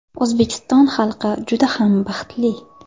O‘zbekiston xalqi juda ham baxtli.